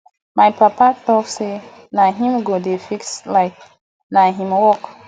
my papa tok say na him go dey fix light na im work